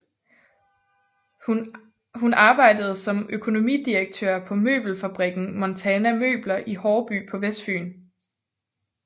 Hun arbejdede som økonomidirektør på møbelfabrikken Montana Møbler i Haarby på Vestfyn